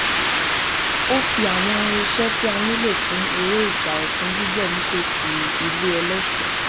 ó fi àwọn irinṣẹ tí a nílò fún eré ìgbà ọtun gbígbẹ nítòsí ilẹ eléso